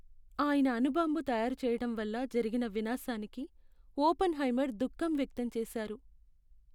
ఆయన అణు బాంబు తయారు చేయటం వల్ల జరిగిన వినాశానికి ఒపెన్హైమర్ దుఖం వ్యక్తం చేశారు.